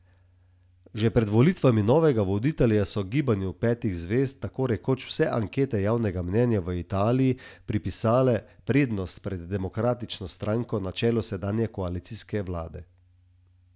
Že pred volitvami novega voditelja so Gibanju petih zvezd tako rekoč vse ankete javnega mnenja v Italiji pripisale prednost pred demokratično stranko na čelu sedanje koalicijske vlade.